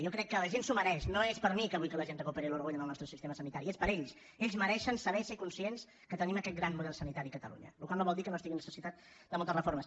jo crec que la gent s’ho mereix no és per a mi que vull que la gent recuperi l’orgull en el nostre sistema sanitari és per a ells ells mereixen saber i ser conscients que tenim aquest gran model sanitari a catalunya la qual cosa no vol dir que no estigui necessitat de moltes reformes